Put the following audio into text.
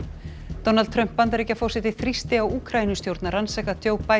Donald Trump Bandaríkjaforseti þrýsti á Úkraínustjórn að rannsaka